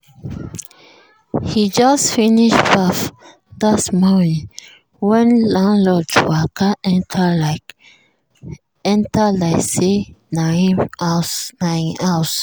e just finish baff that morning when landlord waka enter like enter like say na him house.